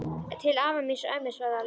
Til afa míns og ömmu svaraði Lilla.